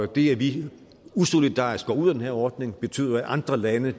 det at vi usolidarisk går ud af den her ordning betyder at andre lande